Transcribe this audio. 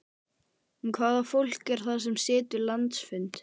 En hvaða fólk er það sem situr landsfund?